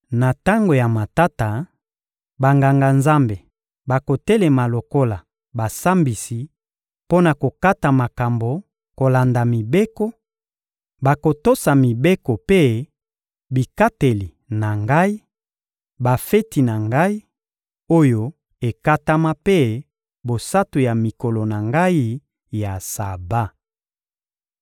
Na tango ya matata, Banganga-Nzambe bakotelema lokola basambisi mpo na kokata makambo kolanda mibeko, bakotosa mibeko mpe bikateli na Ngai, bafeti na Ngai, oyo ekatama mpe bosantu ya mikolo na Ngai ya Saba.